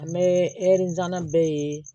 An bɛ bɛɛ ye